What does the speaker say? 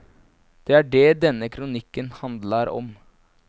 Det er det denne kronikken handlar om.